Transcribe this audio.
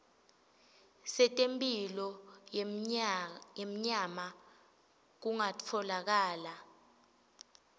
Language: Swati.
setemphilo yenyama kungatfolakala